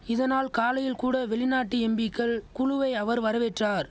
இதனால் காலையில் கூட வெளிநாட்டு எம்பிக்கள் குழுவை அவர் வரவேற்றார்